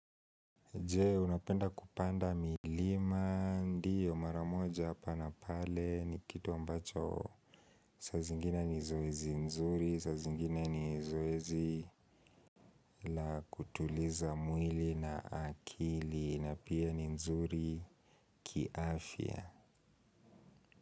Je, unapenda kupanda milima? Ndio mara moja pana pale ni kitu ambacho saa zingine ni zoezi nzuri, saa zingine ni zoezi la kutuliza mwili na akili. Na pia ni nzuri kiafya.